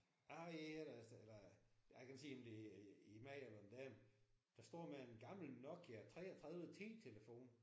Jeg har et her hvor der står eller jeg kan ikke se om det er en mand eller en dame der står med en gammel Nokia 33 10 telefon